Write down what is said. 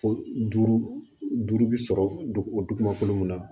Ko duuru duuru bɛ sɔrɔ dugu o dugu ma kolo minna